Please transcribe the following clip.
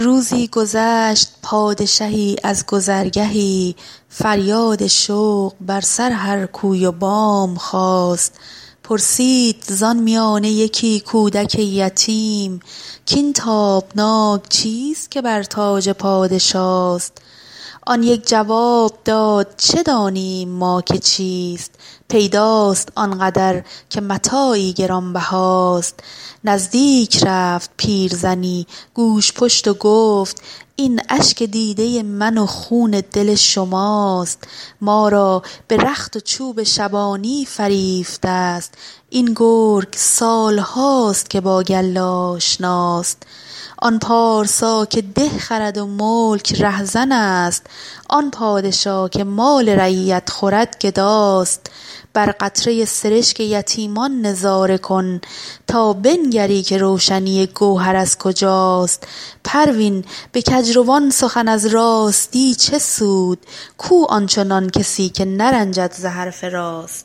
روزی گذشت پادشهی از گذرگهی فریاد شوق بر سر هر کوی و بام خاست پرسید زان میانه یکی کودک یتیم کاین تابناک چیست که بر تاج پادشاست آن یک جواب داد چه دانیم ما که چیست پیداست آنقدر که متاعی گرانبهاست نزدیک رفت پیرزنی گوژپشت و گفت این اشک دیده من و خون دل شماست ما را به رخت و چوب شبانی فریفته است این گرگ سال هاست که با گله آشناست آن پارسا که ده خرد و ملک رهزن است آن پادشا که مال رعیت خورد گداست بر قطره سرشک یتیمان نظاره کن تا بنگری که روشنی گوهر از کجاست پروین به کجروان سخن از راستی چه سود کو آنچنان کسی که نرنجد ز حرف راست